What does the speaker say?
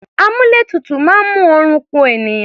Àmúlétutù máa ń mú oorun ku ènìyàn.